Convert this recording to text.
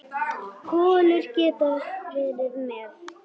Kolur getað verið með.